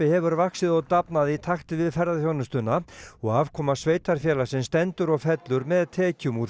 hefur vaxið og dafnað í takti við ferðaþjónustuna og afkoma sveitarfélagsins stendur og fellur með tekjum úr